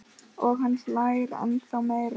Og hann hlær ennþá meira.